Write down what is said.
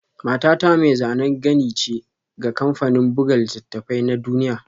Matata mai zanen gani ce ga kamfanin buga littattafai na duniya